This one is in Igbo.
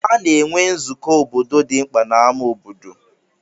A na-enwe nzụkọ obodo dị mkpa na ámá obodo.